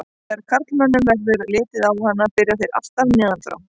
Þegar karlmönnum verður litið á hana byrja þeir alltaf neðan frá.